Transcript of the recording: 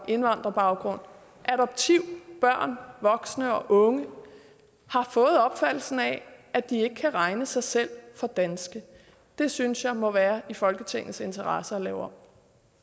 indvandrerbaggrund og adopterede børn voksne og unge har fået opfattelsen af at de ikke kan regne sig selv for danske det synes jeg må være i folketingets interesse at lave om